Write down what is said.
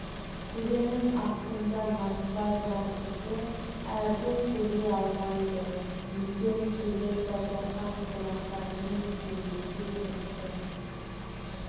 тілінің астында насыбай бар кісі әрпін сөйлей алмайды екен сөйлеп базархан қонақтарымен кеңеске кірісті